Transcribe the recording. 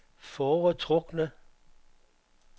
foretrukne